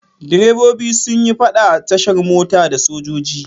Direbobi sun yi faɗa a tashar mota da sojoji.